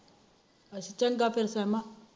ਚੰਗਾ ਫਿਰ ਸਿਹਮਾ